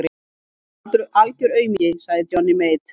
Hann var algör aumingi, sagði Johnny Mate.